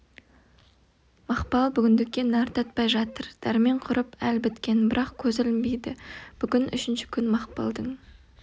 мақпал бүгіндікке нәр татпай жатыр дәрмен құрып әл біткен бірақ көзі ілінбейді бүгін үшінші күн мақпалдың